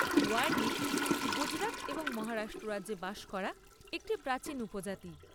ওয়ারলি গুজরাট এবং মহারাষ্ট্র রাজ্যে বাস করা একটি প্রাচীন উপজাতি।